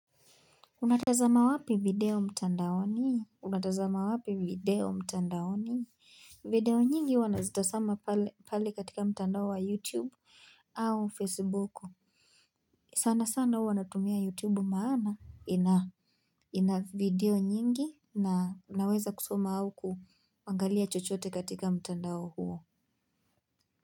Unatazama wapi video mtandaoni? Unatazama wapi video mtandaoni? Video nyingi huwa nazitasama pale, pale katika mtandao wa YouTube au Facebuku. Sana sana huwa natumia YouTube maana ina video nyingi na naweza kusoma au kuangalia chochote katika mtandao huo.